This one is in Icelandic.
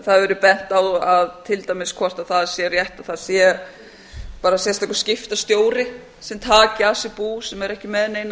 það hefur verið bent á til dæmis hvort það sé rétt að það sé bara sérstakur skiptastjóra sem taki að sér bú sem eru ekki með neinar